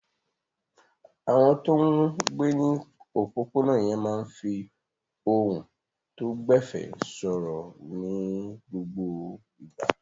Àwọn tó ń gbé ní òpópónà yẹn máa ń fi ohùn tó gbẹ̀fẹ̀ sọ̀rọ̀ ní gbogbo ìgbà.